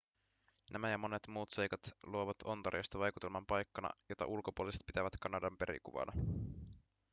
nämä ja monet muut seikat luovat ontariosta vaikutelman paikkana jota ulkopuoliset pitävät kanadan perikuvana